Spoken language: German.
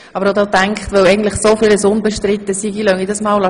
Ich habe dann gedacht, weil so vieles unbestritten ist, lasse ich das stehen.